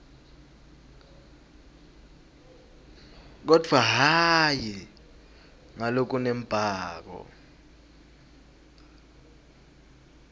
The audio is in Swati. kodvwa hhayi ngalokunembako